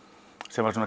sem var